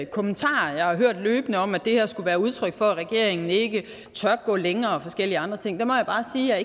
kommentarer jeg har hørt løbende om at det her skulle være udtryk for at regeringen ikke tør gå længere og forskellige andre ting må jeg bare sige at